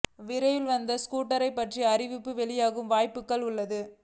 விரைவில் இந்த ஸ்கூட்டர் பற்றிய அறிவிப்புகள் வெளியாகும் வாய்ப்புகள் உள்ளன